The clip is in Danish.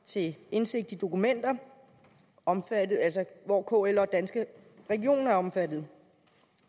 til indsigt i dokumenter hvor kl og danske regioner er omfattet